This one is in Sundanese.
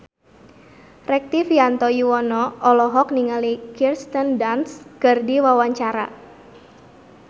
Rektivianto Yoewono olohok ningali Kirsten Dunst keur diwawancara